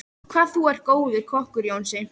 Hvað þú er góður kokkur, Jónsi.